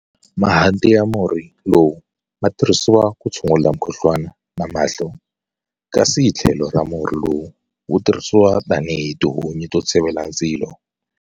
Mahanti ya murhi lowu ma tirhisiwa ku tshungula mukhuhlwana na mahlo, kasi hi tlhelo murhi lowu wu tirhisiwa tanihi tihunyi to tshivela ndzilo.